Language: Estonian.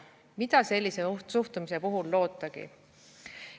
Mida sellise suhtumise puhul lootagi?